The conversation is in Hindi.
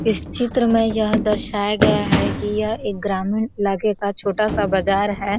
इस चित्र में यह दर्शाया गया है कि यह एक ग्रामीण इलाके का छोटा-सा बजार है।